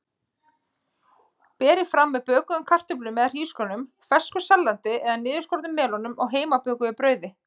Berið fram með bökuðum kartöflum eða hrísgrjónum, fersku salati eða niðurskornum melónum og heimabökuðu brauði.